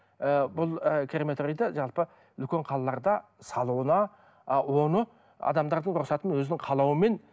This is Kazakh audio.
ы бұл ы крематорийды жалпы үлкен қалаларда салуына ы оны адамдардың рұқсатымен өзінің қалауымен